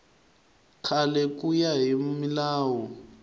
kahle ku ya hi milawu